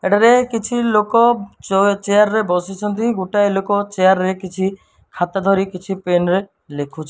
ଏଠାର କିଛି ଲୋକ ଚ ଚେୟାର ରେ ବସିଛନ୍ତି ଗୋଟାଏ ଲୋକ ଚେୟାର ରେ କିଛି ହାତ ଧରି କିଛି ପେନ ରେ ଲେଖୁଛ --